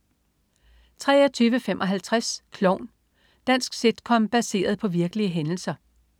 23.55 Klovn. Dansk sitcom baseret på virkelige hændelser